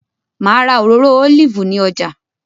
Ma ra òróró olive ni ọjà